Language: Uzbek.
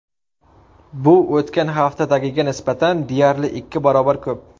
Bu o‘tgan haftadagiga nisbatan deyarli ikki barobar ko‘p.